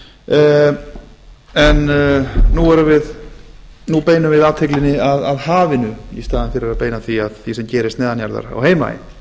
vestmannaeyjum en nú beinum við athyglinni að hafinu í staðinn fyrir að beina því sem gerist neðan jarðar á heimaey